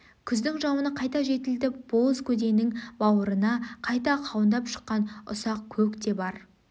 күздің жауыны қайта жетілтіп боз көденің бауырына қайта қауындап шыққан үсақ көк те бар